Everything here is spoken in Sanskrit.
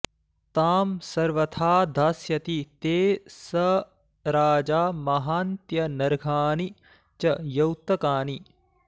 तां सर्वथा दास्यति ते स राजा महान्त्यनर्घाणि च यौतकानि